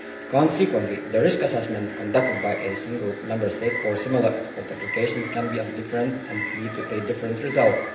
Consequently, the risk assessments conducted by single Member States for similar export applications can be different and lead to a different result.